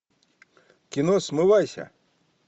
кино смывайся